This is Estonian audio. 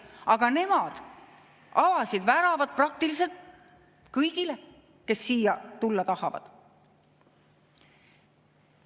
Aga nemad avasid väravad praktiliselt kõigile, kes siia tulla tahavad.